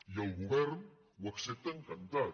i el govern ho accepta encantat